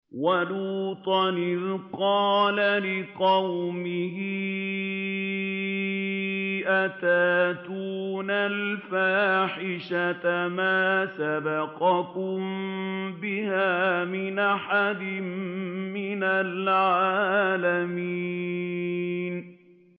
وَلُوطًا إِذْ قَالَ لِقَوْمِهِ أَتَأْتُونَ الْفَاحِشَةَ مَا سَبَقَكُم بِهَا مِنْ أَحَدٍ مِّنَ الْعَالَمِينَ